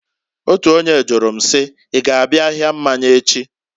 Otu onye jụrụ m si, "I g'abịa ahịa mmanya echi?"